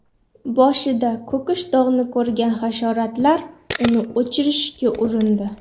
Boshida ko‘kish dog‘ni ko‘rgan hasharotlar uni o‘chirishga urindi.